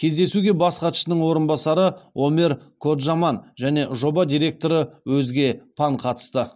кездесуге бас хатшының орынбасары омер коджаман және жоба директоры озге пан катысты